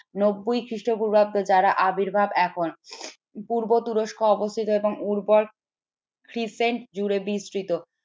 নব্বই খ্রিস্টপূর্বাব্দ যারা আবির্ভাব এখন পূর্ব তুরস্ক অবস্থিত একদম উর্বর জুড়ে বিস্তৃত